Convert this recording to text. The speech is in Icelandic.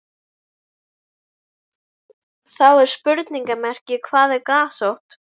Þá er spurningamerki hvað er grasrót?